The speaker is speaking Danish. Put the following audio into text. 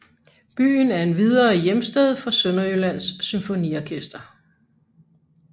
Byen er endvidere hjemsted for Sønderjyllands Symfoniorkester